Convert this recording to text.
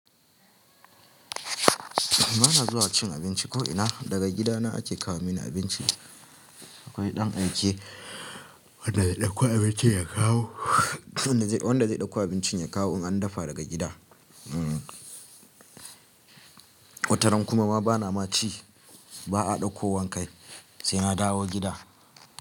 Ba na zuwa cin abinci ko'ina, daga gidana ake kawo mini abinci. Akwai ɗan aike wanda zai ɗauko abincin ya kawo in an dafa daga gida. Wataran kuma bana ma ci, ba a ɗauko wankai sai na dawo gida.